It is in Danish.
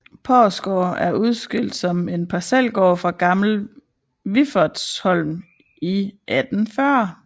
Porsgaard er udskilt som en parcelgård fra Gammel Wiffertsholm i 1840